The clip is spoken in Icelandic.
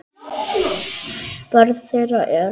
Börn þeirra eru.